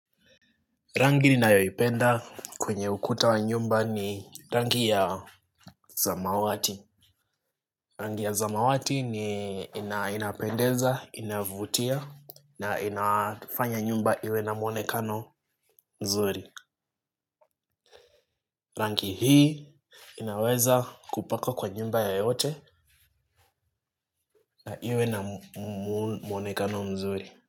Rangi inayoipenda kwenye ukuta wa nyumba ni rangi ya samawati. Rangi ya zamawati ni inapendeza, inavutia na inafanya nyumba iwe na mwonekano mzuri. Rangi hii inaweza kupaka kwa nyumba ya yote na iwe na mwonekano mzuri.